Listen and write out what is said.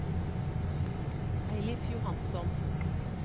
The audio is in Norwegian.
Eilif Johansson